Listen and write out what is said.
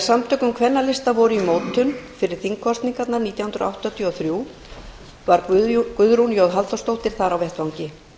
um kvennalista voru í mótun fyrir þingkosningarnar nítján hundruð áttatíu og þrjú var guðrún j halldórsdóttir þar á vettvangi